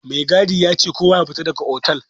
Mai gadi yace kowa yafita daga otal.